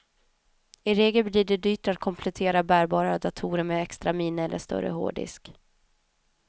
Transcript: I regel blir det dyrt att komplettera bärbara datorer med extra minne eller större hårddisk.